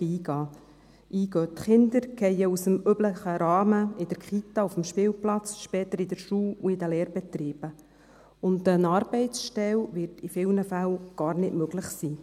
– Die Kinder fallen aus dem üblichen Rahmen in der Kita, auf dem Spielplatz, später in der Schule und in den Lehrbetrieben, und eine Arbeitsstelle wird in vielen Fällen gar nicht möglich sein.